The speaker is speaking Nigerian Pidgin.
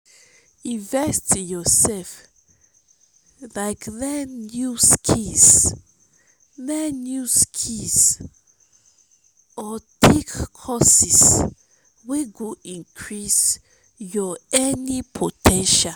invest in your self like learn new skills learn new skills or take courses wey go increase your earning po ten tial.